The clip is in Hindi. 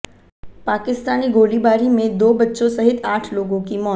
पाकिस्तानी गोलीबारी में दो बच्चों सहित आठ लोगों की मौत